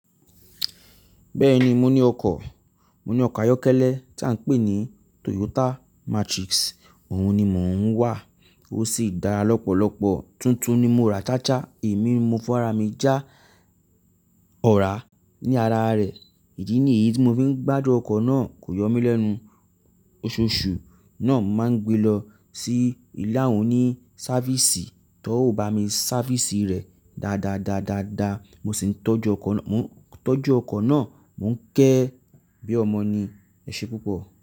Bẹ́ẹ̀ni mo ní ọkọ̀, mo ní ọkọ̀ ayọ́kẹ́lẹ́ tí à ń pè ní Toyota Matrix. Òun ni mò ń wà, ó sì dára lọ́pọ̀lọpọ̀. Tuntun ni mo ra a cha cha, èmi ni mo fọ́wó ara mí já ọ̀rá ní ara rẹ̀. Ìdí ni èyí tí mo fi ń gbádùn ọkọ̀ náà, kò yọ mí lẹ́nu. Oṣooṣù náà máa ń gbe lọ sí ìlé àwon òní-sáfísì tán ò bámi sáfísì rẹ̀ dáadáa dáadáa, mo sì ń tọ́jú ọkọ̀ náà, mò ń kẹ́ ẹ́ bí ọmọ ni. Ẹ̀ṣẹ́ púpọ̀